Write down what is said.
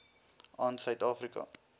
aan suid afrika